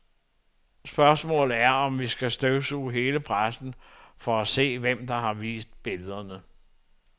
Spørgsmålet er, om vi skal støvsuge hele pressen for at se, hvem der har vist billederne.